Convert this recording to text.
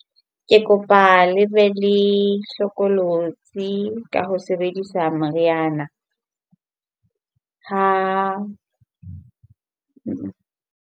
Ke kopa le be le hlokolosi ka ho sebedisa meriana ha.